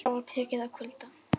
Það var tekið að kvölda.